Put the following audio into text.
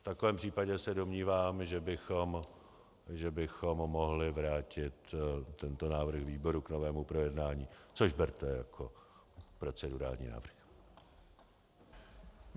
V takovém případě se domnívám, že bychom mohli vrátit tento návrh výboru k novému projednání, což berte jako procedurální návrh.